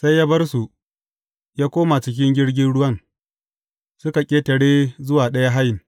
Sai ya bar su, ya koma cikin jirgin ruwan, suka ƙetare zuwa ɗaya hayin.